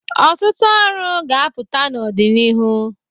Ọtụtụ ọrụ ga-apụta n'ọdịnihu.